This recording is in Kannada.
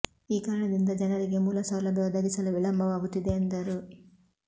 ಈ ಕಾರಣದಿಂದ ಜನರಿಗೆ ಮೂಲ ಸೌಲಭ್ಯ ಒದಗಿಸಲು ವಿಳಂಬ ವಾಗುತ್ತಿದೆ ಎಂದರು